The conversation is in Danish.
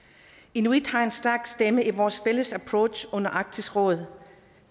inuit har en stærk stemme i vores fælles approach under arktisk råd